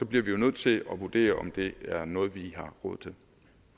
bliver vi jo nødt til at vurdere om det er noget vi har